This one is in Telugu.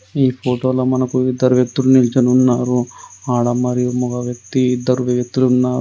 ఈ ఫోటోలో మనకు ఇద్దరు వ్యక్తులు నిల్చొని ఉన్నారు. ఆడ మరియు మగ వ్యక్తి ఇద్దరు వ్యక్తులు ఉన్నారు.